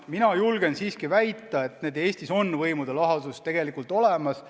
Mina julgen siiski väita, et Eestis on võimude lahusus tegelikult olemas.